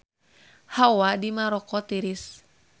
Hawa di Maroko tiris